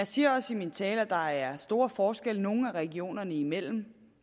siger også i min tale at der er store forskelle nogle af regionerne imellem